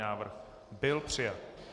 Návrh byl přijat.